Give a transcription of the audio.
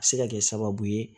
A bɛ se ka kɛ sababu ye